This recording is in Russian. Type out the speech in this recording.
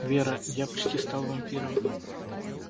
вера я почти стал вампиром